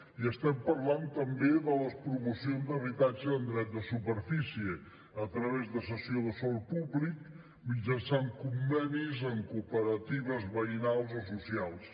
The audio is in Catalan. i estem parlant també de les promocions d’habitatge amb dret de superfície a través de cessió de sòl públic mitjançant convenis amb cooperatives veïnals o socials